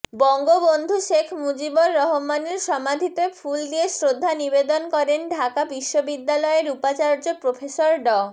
বঙ্গবন্ধু শেখ মুজিবুর রহমানের সমাধিতে ফুল দিয়ে শ্রদ্ধা নিবেদন করেন ঢাকা বিশ্ববিদ্যালয়ের উপাচার্য প্রফেসর ড